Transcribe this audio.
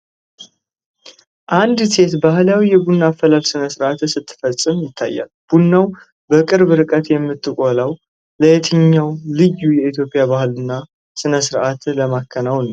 አንዲት ሴት ባህላዊ የቡና አፈላል ስነ ስርዓት ስትፈፅም ይታያል። ቡናውን በቅርብ ርቀት የምትቆላው ለየትኛው ልዩ የኢትዮጵያ ባህልና ስርዓት ለማከናወን ነው?